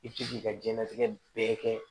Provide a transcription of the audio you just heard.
I bɛ se k'i ka diɲɛnatigɛ bɛɛ kɛ